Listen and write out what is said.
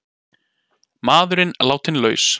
Maðurinn látinn laus